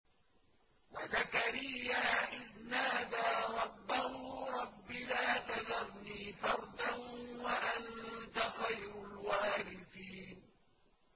وَزَكَرِيَّا إِذْ نَادَىٰ رَبَّهُ رَبِّ لَا تَذَرْنِي فَرْدًا وَأَنتَ خَيْرُ الْوَارِثِينَ